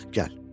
Çıx gəl.